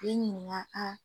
Den